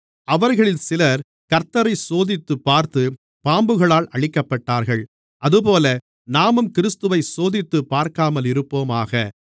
அவர்களில் சிலர் கர்த்த்தரைச் சோதித்துப்பார்த்து பாம்புகளால் அழிக்கப்பட்டார்கள் அதுபோல நாமும் கிறிஸ்துவைச் சோதித்துப்பார்க்காமலிருப்போமாக